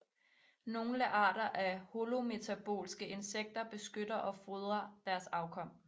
Nogle arter af holometabolske insekter beskytter og fodrer deres afkom